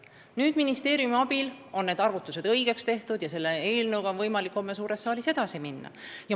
Nüüd on ministeeriumi abil arvutused õigesti tehtud ja selle eelnõuga on võimalik homme suures saalis edasi minna.